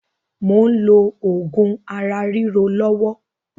Mò ń lò oògùn ara ríro lọ́wọ́